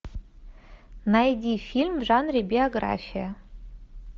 найди фильм в жанре биография